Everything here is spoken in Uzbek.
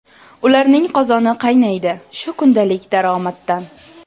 Ularning qozoni qaynaydi shu kundalik daromaddan.